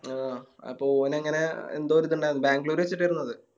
ആ അപ്പൊ ഓനങ്ങനെ എന്തോരിതിണ്ടാരുന്നു ബാംഗ്ലൂര് വെച്ചിട്ടായിരുന്നു അത്